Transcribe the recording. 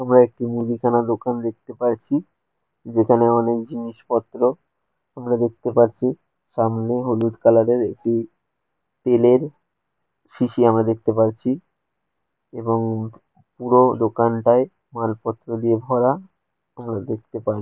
আমরা একটি মুদিখানা দোকান দেখতে পাইছি যেখানে অনেক জিনিসপত্র আমরা দেখতে পারছি সামনে হলুদ কালার এর একটি তেলের সিসি আমরা দেখতে পাইছি এবং পুরো দোকানটায় মালপত্র দিয়ে ভরা আমরা দেখতে পা--